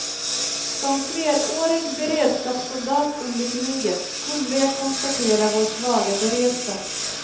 Som flerårig beredskapssoldat under kriget, kunde jag konstatera vår svaga beredskap.